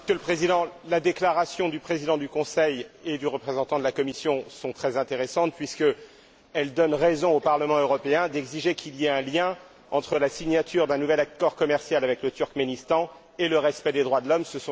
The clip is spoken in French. Monsieur le Président, les déclarations du Président du Conseil et du représentant de la Commission sont très intéressantes puisqu'elles donnent raison au Parlement européen d'exiger qu'il y ait un lien entre la signature d'un nouvel accord commercial avec le Turkménistan et le respect des droits de l'homme.